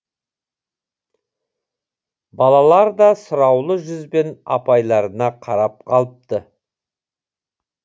балалар да сұраулы жүзбен апайларына қарап қалыпты